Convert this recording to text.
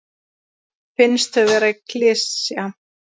Finnst þau vera klisja.